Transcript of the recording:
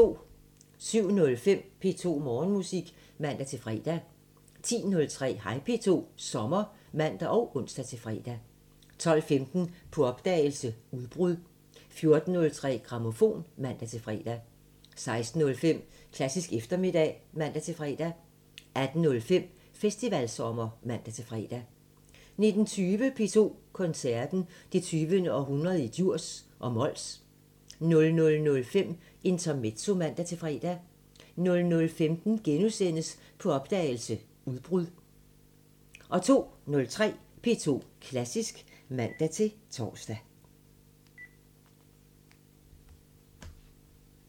07:05: P2 Morgenmusik (man-fre) 10:03: Hej P2 – sommer (man og ons-fre) 12:15: På opdagelse – Udbrud 14:03: Grammofon (man-fre) 16:05: Klassisk eftermiddag (man-fre) 18:05: Festivalsommer (man-fre) 19:20: P2 Koncerten – Det 20. århundrede i Djurs og Mols 00:05: Intermezzo (man-fre) 00:15: På opdagelse – Udbrud * 02:03: P2 Klassisk (man-tor)